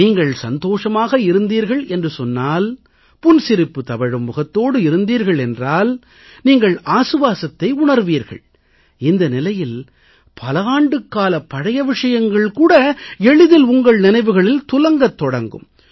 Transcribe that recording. நீங்கள் சந்தோஷமாக இருந்தீர்கள் என்று சொன்னால் புன்சிரிப்பு தவழும் முகத்தோடு இருந்தீர்கள் என்றால் நீங்கள் ஆசுவாசத்தை உணர்வீர்கள் இந்த நிலையில் பல ஆண்டுகாலப் பழைய விஷயங்கள் கூட எளிதில் உங்கள் நினைவுகளில் துலங்கத் தொடங்கும்